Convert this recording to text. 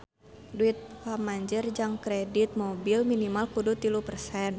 Duit pamanjer jang kredit mobil minimal kudu tilu persen